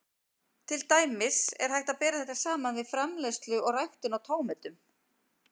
Til dæmis er hægt að bera þetta saman við framleiðslu og ræktun á tómötum.